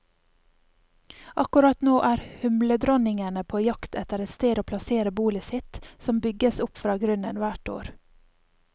Akkurat nå er humledronningene på jakt etter et sted å plassere bolet sitt, som bygges opp fra grunnen hvert år.